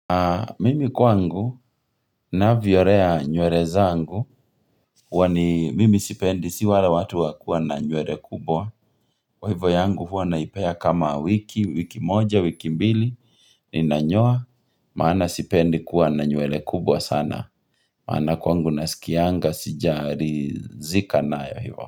Mimi kwangu na vyolea nywele zangu huwa ni mimi sipendi, si wala watu wakuwa na nywele kubwa Kwa hivyo yangu huwa naipea kama wiki, wiki moja, wiki mbili Ninanyoa, maana sipendi kuwa na nywele kubwa sana maana kwa ngu nasikianga, sijarizika nayo hivyo.